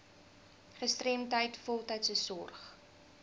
gestremdheid voltydse sorg